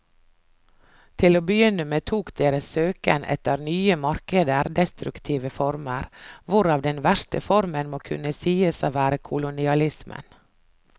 Til å begynne med tok deres søken etter nye markeder destruktive former, hvorav den verste formen må kunne sies å være kolonialismen.